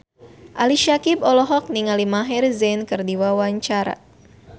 Ali Syakieb olohok ningali Maher Zein keur diwawancara